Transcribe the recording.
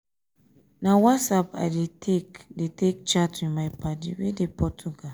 na whatsapp i dey take dey take chat with my paddy wey dey portugal.